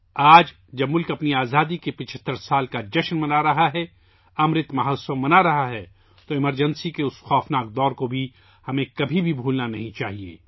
آج جب ملک اپنی آزادی کے 75 سال مکمل کر رہا ہے، امرت مہوتسو منا رہا ہے، ہمیں ایمرجنسی کے اس خوفناک دور کو کبھی نہیں بھولنا چاہیے